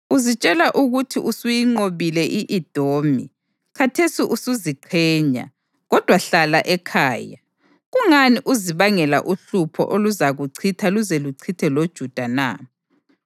Uzitshela ukuthi usuyinqobile i-Edomi, khathesi usuziqhenya. Kodwa hlala ekhaya! Kungani uzibangela uhlupho oluzakuchitha luze luchithe loJuda na?”